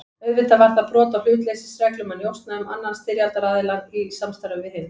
Auðvitað var það brot á hlutleysisreglum að njósna um annan styrjaldaraðiljann í samstarfi við hinn.